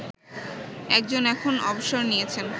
একজন এখন অবসর নিয়েছেন